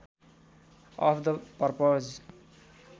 of the purpose